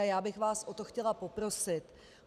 A já bych vás o to chtěla poprosit.